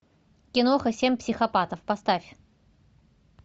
киноха семь психопатов поставь